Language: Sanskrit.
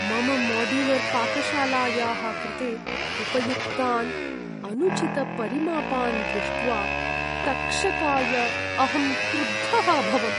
मम माड्युलर्पाकशालायाः कृते उपयुक्तान् अनुचितपरिमापान् दृष्ट्वा तक्षकाय अहं क्रुद्धः अभवम्।